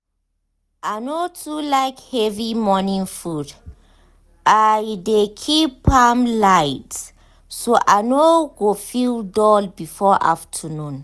i no too like heavy morning food i dey keep am light so i no go feel dull before afternoon.